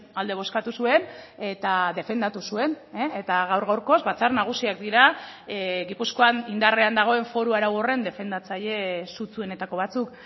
alde bozkatu zuen eta defendatu zuen eta gaur gaurkoz batzar nagusiak dira gipuzkoan indarrean dagoen foru arau horren defendatzaile sutsuenetako batzuk